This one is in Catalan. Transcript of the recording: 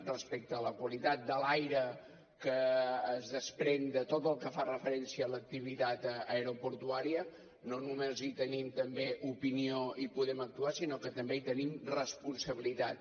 respecte a la qualitat de l’aire que es desprèn de tot el que fa referència a l’activitat aeroportuària no només hi tenim també opinió i podem actuar sinó que també hi tenim responsabilitat